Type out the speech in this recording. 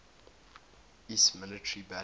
iiss military balance